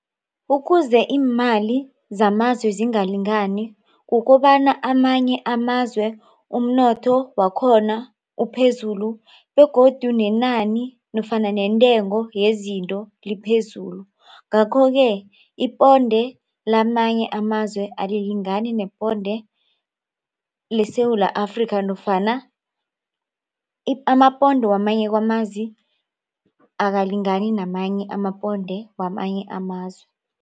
Ukuze iimali zamazwe zingalingani kukobana amanye amazwe umnotho wakhona uphezulu begodu nenani nofana nentengo yezinto liphezulu. Ngakho-ke iponde lamanye amazwe alilingani neponde leSewula Afrika nofana amaponde kwamanye amazi akalingani namanye amaponde kwamanye amazwe.